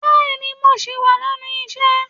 Bẹẹni, mo ṣì wà lénu isẹ.